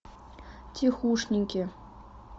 тихушники